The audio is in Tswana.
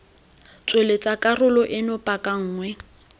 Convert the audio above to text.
tsweletsa karolo eno paka nngwe